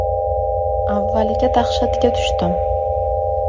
Avvaliga dahshatga tushdim.